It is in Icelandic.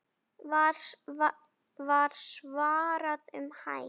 var svarað um hæl.